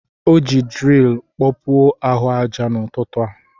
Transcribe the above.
O ji dril kpọpuo ahụ aja n'ụtụtụ a.